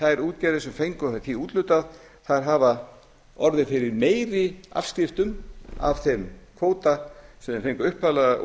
þær útgerðir sem fengu það úthlutað hafi orðið fyrir meiri afskriftum af þeim kvóta sem þær fengu upphaflega